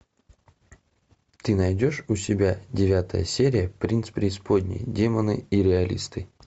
ты найдешь у себя девятая серия принц преисподней демоны и реалисты